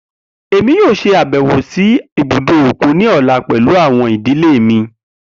Emi yoo ṣabẹwo si ibudo okun ni ọla pẹlu awọn idile mi.